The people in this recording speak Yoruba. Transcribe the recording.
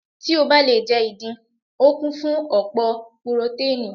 Tí o bá le jẹ́ ìdin, o kún fún ọ̀pọ̀ purotánìì.